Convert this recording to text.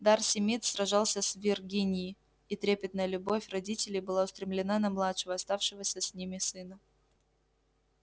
дарси мид сражался с виргинии и трепетная любовь родителей была устремлена на младшего оставшегося с ними сына